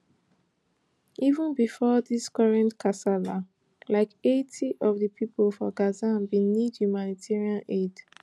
even bifor dis current kasala like eighty of di pipo for gaza bin need humanitarian aid